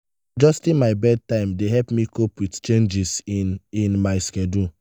adjusting my bedtime dey help me cope with changes in in my schedule.